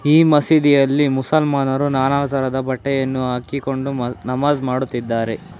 ಈ ಮಸೀದಿಯಲ್ಲಿ ಮುಸಲ್ಮಾನರು ನಾನಾ ತರಹದ ಬಟ್ಟೆಯನ್ನು ಹಾಕಿಕೊಂಡು ನಮಾಜ್ ಮಾಡುತ್ತಿದ್ದಾರೆ.